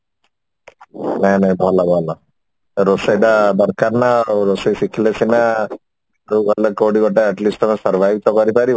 ନାଇଁ ନାଇଁ ଭଲ ଭଲ ରୋଷେଇଟା ଦରକାର ନା ରୋଷେଇ ଶିଖିଲେ ସିନା ଗଲେ କୋଉଠି ଗୋଟେ at least ତମେ survive ତ କରି ପାରିବ